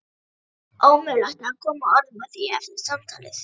Ómögulegt að koma orðum að því eftir samtalið.